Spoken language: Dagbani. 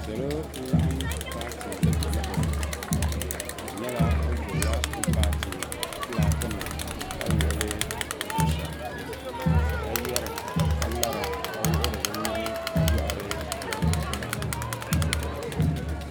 Salo n laɣim paati laɣingu ka di nyɛla bi gbubi la paati filaaki nim ka wuɣi li zuɣusaa ka yari ka lara ka wuɣiri bi nuhi ka yɔhira dɔli taba.